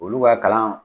Olu ka kalan